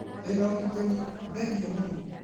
Ndĩ na ũgitĩri, thengiũmũno